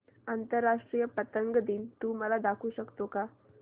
आंतरराष्ट्रीय पतंग दिन तू मला दाखवू शकतो का